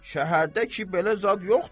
Şəhərdə ki belə zad yoxdur.